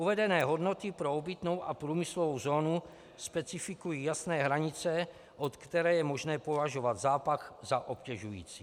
Uvedené hodnoty pro obytnou a průmyslovou zónu specifikují jasné hranice, od které je možné považovat zápach za obtěžující.